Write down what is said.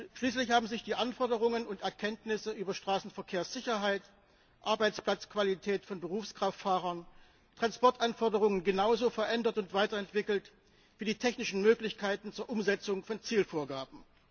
Schließlich haben sich die Anforderungen und Erkenntnisse über Straßenverkehrssicherheit, Arbeitsplatzqualität von Berufskraftfahrern und Transportanforderungen genauso verändert und weiterentwickelt wie die technischen Möglichkeiten zur Umsetzung von Zielvorgaben.